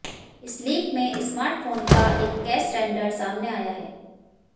इस लीक में स्मार्टफोन का एक केस रेंडर सामने आया है